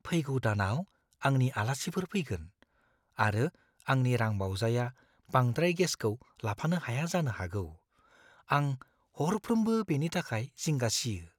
फैगौ दानाव आंनि आलासिफोर फैगोन, आरो आंनि रांबावजाया बांद्राय गेसखौ लाफानो हाया जानो हागौ। आं हरफ्रोमबो बेनि थाखाय जिंगा सियो।